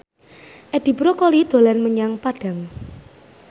Edi Brokoli dolan menyang Padang